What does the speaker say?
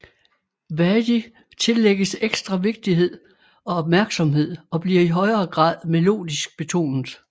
Vadi tillægges ekstra vigtighed og opmærksomhed og bliver i højere grad melodisk betonet